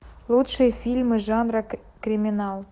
лучшие фильмы жанра криминал